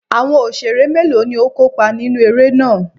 Àwọn Òṣeré mélòó ni ó kópa nínú eré náà?